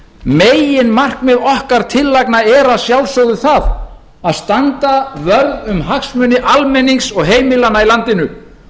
meginmarkmið okkar tillagna er að sjálfsögðu það að standa vörð um hagsmuni almennings og heimilanna í landinu